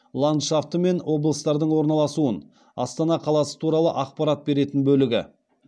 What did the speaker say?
ландшафты мен облыстардың орналасуын астана қаласы туралы ақпарат беретін бөлігі